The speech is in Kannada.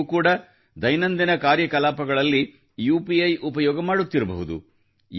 ನೀವು ಕೂಡ ದೈನಂದಿನ ಕಾರ್ಯಕಲಾಪಗಳಲ್ಲಿ ಯುಪಿಐ ಉಪಯೋಗ ಮಾಡುತ್ತಿರಬಹುದು